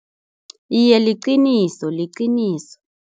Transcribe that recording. Iye, liqiniso, liqiniso.